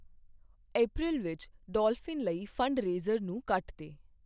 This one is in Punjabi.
ਅਪ੍ਰੈਲ ਵਿੱਚ ਡੌਲਫਿਨ ਲਈ ਫੰਡਰੇਜ਼ਰ ਨੂੰ ਕੱਟ ਦੇ